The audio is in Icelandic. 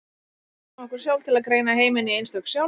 Við blekkjum okkur sjálf til að greina heiminn í einstök sjálf.